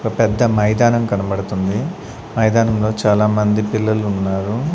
ఒక పెద్ద మైదానం కనబడుతుంది మైదానంలో చాలామంది పిల్లలు ఉన్నారు.